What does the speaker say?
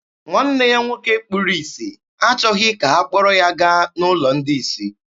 Nwanne ya nwoke kpuru isi achọghị ka ha kpọrọ ya gaa n'ụlọ ndị isi.